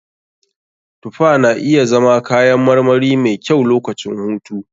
Tufa na iya zama kayan marmari mai kyau lokacin hutu.